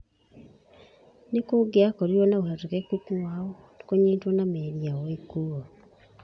Nĩ kũngĩakorirũo na ũhotekeku wao kũnyitwo na meri yao ĩkuuo.